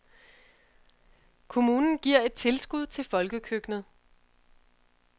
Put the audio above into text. Kommunen giver et tilskud til folkekøkkenet.